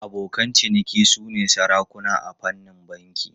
Abokan ciniki sune sarakuna a fannin banki.